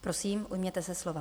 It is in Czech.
Prosím, ujměte se slova.